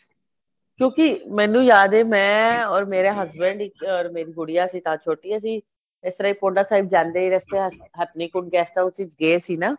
ਕਿਉਂਕਿ ਮੈਨੂੰ ਯਾਦ ਏ ਮੈਂ or ਮੇਰੇ husband ਇੱਕ or ਮੇਰੀ ਗੂੜੀਆ ਸੀ ਨਾਲ ਛੋਟੀ ਅਸੀਂ ਇਸ ਤਰ੍ਹਾਂ ਹੀ ਪੋੰਟਾ ਸਾਹਿਬ ਜਾਂਦੇ ਰਸਤੇ ਚ ਹਥਨੀ ਕੁੰਡ guest house ਗਏ ਸੀ ਨਾ